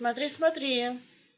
смотри-смотри